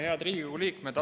Head Riigikogu liikmed!